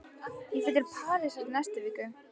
Ég fer til Parísar í næstu viku.